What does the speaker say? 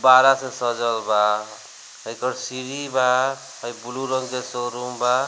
गुब्बारा से सजल बा एकर सीढ़ी बा हई ब्लू रंग जे शोरूम बा।